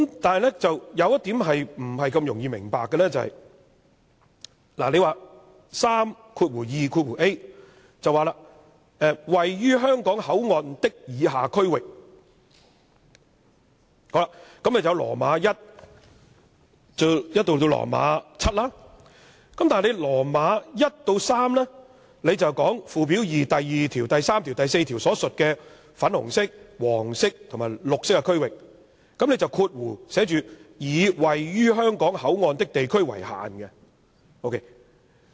但是，有一點不大容易明白的是，第 32a 條說：位於香港口岸的以下區域有第 i 至節，但第 i 至節說附表2第2條、第3條、第4條所描述的粉紅色、黃色和綠色區域，並以括弧寫着"以位於香港口岸的地區為限"。